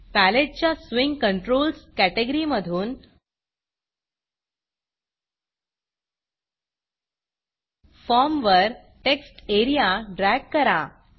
पॅलेटच्या swing Controlsस्विंग controls कॅटॅगरीमधून फॉर्मवर टेक्स्ट Areaटेक्स्ट एरिया ड्रॅग करा